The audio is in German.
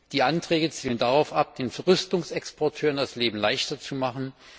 Die Anträge zielen darauf ab, den Rüstungsexporteuren das Leben leichter zu machen.